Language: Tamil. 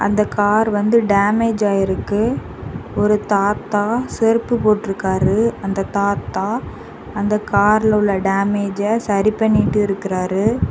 இந்த கார் வந்து டேமேஜ் ஆயிருக்கு ஒரு தாத்தா செருப்பு போட்டுருக்காரு அந்த தாத்தா அந்த கார்ல உள்ள டேமேஜை சரி பண்ணிட்டு இருக்கிறாரு.